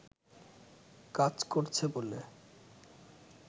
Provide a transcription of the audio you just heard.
কাজ করছে বলে